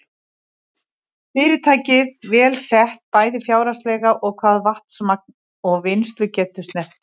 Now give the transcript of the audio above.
Fyrirtækið vel sett, bæði fjárhagslega og hvað vatnsmagn og vinnslugetu snertir.